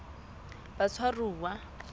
batshwaruwa